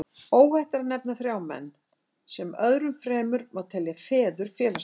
Óhætt er að nefna þrjá menn, sem öðrum fremur má telja feður félagsfræðinnar.